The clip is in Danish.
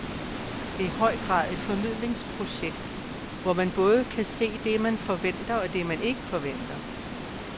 Det er i høj grad et formidlingsprojekt, hvor man både kan se det, man forventer, og det, man ikke forventer.